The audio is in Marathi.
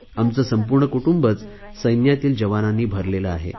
आमचे संपूर्ण कुटुंबच सैन्यातील जवानांनी भरलेले आहे